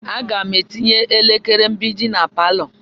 Aga m etinye elekere mgbidi na palọ.